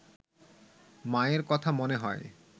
মায়ের কথা মনে হয়